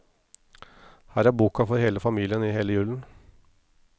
Her er boka for hele familien i hele julen.